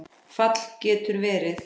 Fall getur verið